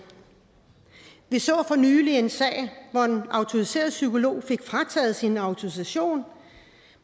vi så for nylig en sag hvor en autoriseret psykolog fik frataget sin autorisation